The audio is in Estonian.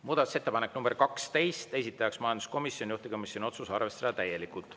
Muudatusettepanek nr 12, esitaja majanduskomisjon, juhtivkomisjoni otsus: arvestada täielikult.